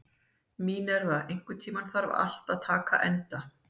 Mínerva, einhvern tímann þarf allt að taka enda.